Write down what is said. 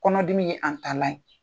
Kɔnɔdimi ye an taalan ye.